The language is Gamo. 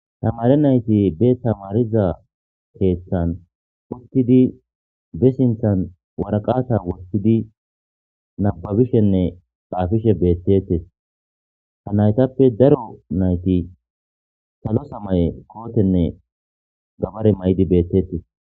Tamare nayti be tamariza keeththan wostidi be sinthan waraqata wostidi nababishenne phaafishe beettetes ha naytappe daro nayti salo samaye kootenne gabare may7di beettetes.